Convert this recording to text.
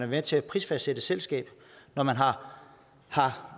med til at prisfastsætte et selskab når man